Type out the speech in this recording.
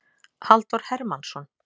Halldór Hermannsson.